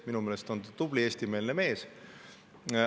Minu meelest on ta tubli eestimeelne mees.